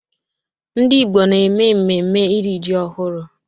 Ndị Igbo na-eme mmemme iri ji ọhụrụ